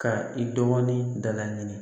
Ka i dɔgɔnin da laɲini